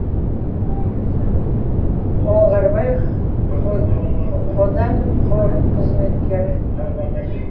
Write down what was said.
оңғарбай қоданов қорық қызметкері